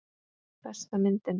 Besta myndin?